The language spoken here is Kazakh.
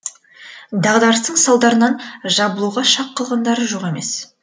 дағдарыстың салдарынан жабылуға шақ қалғандары жоқ емес